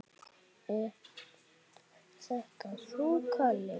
Ert þetta þú, Kalli minn?